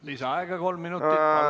Lisaaega kolm minutit.